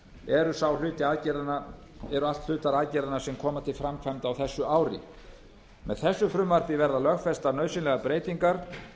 eru allt hlutar aðgerðanna sem koma til framkvæmda á þessu ári með þessu frumvarpi verða lögfestar nauðsynlegar breytingar